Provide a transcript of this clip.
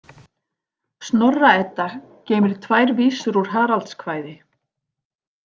Snorra- Edda geymir tvær vísur úr Haraldskvæði.